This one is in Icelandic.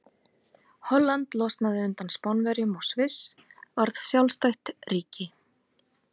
Holland losnaði undan Spánverjum og Sviss varð sjálfstætt ríki.